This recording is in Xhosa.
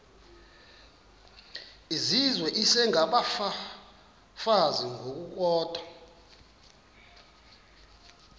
izizwe isengabafazi ngokukodwa